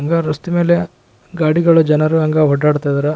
ಹಂಗ ರಸ್ತೆ ಮೇಲೆ ಗಾಡಿಗಳು ಜನರು ಹಂಗ ಓಡಾಡ್ತಾ ಇದ್ದರ.